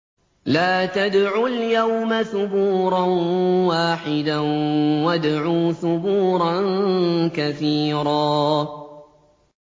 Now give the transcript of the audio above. لَّا تَدْعُوا الْيَوْمَ ثُبُورًا وَاحِدًا وَادْعُوا ثُبُورًا كَثِيرًا